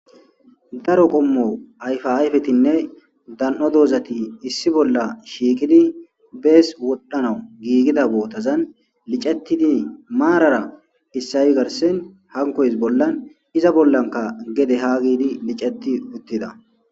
daro qommo ayfa ayfetinne dan7o doozati issi bolla shiikidi bees wodhdhanau giigida bootazan licetidi maarara issayi garsen hankoys bollan iza bollanka gede haa giidi liceti uttida